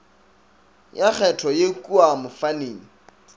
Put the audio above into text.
ya kgetho ye kua mofaning